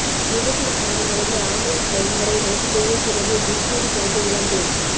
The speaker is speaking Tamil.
விபத்தில் காயமடைந்து ஆம்புலன்ஸ் வரும்வரை ரோட்டிலேயே கிடந்து டிக்சனரி படித்த இளம்பெண்